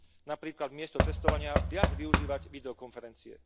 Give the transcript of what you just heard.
Napríklad miesto cestovania viac využívať videokonferencie.